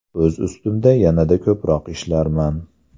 O‘z ustimda yanada ko‘proq ishlarman.